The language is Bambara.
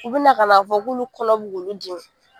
U bina ka na fɔ k'ulu kɔnɔ bi k'uli di